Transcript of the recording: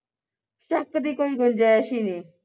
ਸ਼ੱਕ ਦੀ ਕੋਈ ਗੁੰਜਾਇਸ਼ ਹੀ ਨੀ